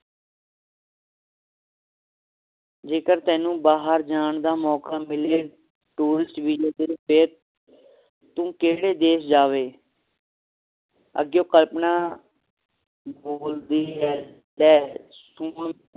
ਜੇਕਰ ਤੈਨੂੰ ਬਾਹਰ ਜਾਣ ਦਾ ਮੌਕਾ ਮਿਲੇ tourist visa ਤੇ ਫੇਰ ਤੂੰ ਕੇਹੜੇ ਦੇਸ਼ ਜਾਵੇ ਅੱਗਿਓਂ ਕਲਪਨਾ ਬੋਲਦੀ ਹੈ